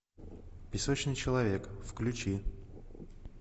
песочный человек включи